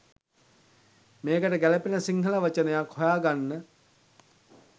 මේකට ගැළපෙන සිංහල වචනයක් හොයා ගන්න